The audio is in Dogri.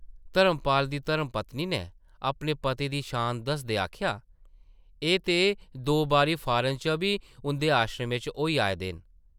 धर्मपाल दी धर्मपत्नी नै अपने पति दी शान दसदे आखेआ , एह् ते दो बारी फारन च बी उंʼदे आश्रमें च होई आए दे न ।